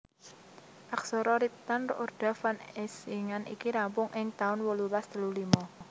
Aksara riptan Roorda van Eysingan iki rampung ing taun wolulas telu limo